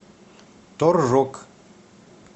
торжок